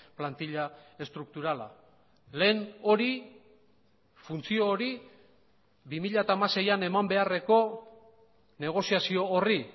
plantila estrukturala lehen hori funtzio hori bi mila hamaseian eman beharreko negoziazio horri